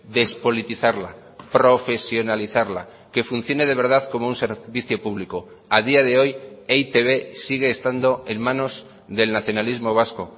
despolitizarla profesionalizarla que funcione de verdad como un servicio público a día de hoy e i te be sigue estando en manos del nacionalismo vasco